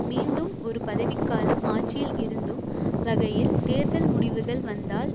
மீண்டும் ஒரு பதவிக்காலம் ஆட்சியில் இருத்தும் வகையில் தேர்தல் முடிவுகள் வந்தால்